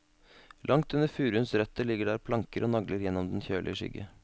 Langt under furuens røtter ligger der planker og nagler gjennem den kjølige skygge.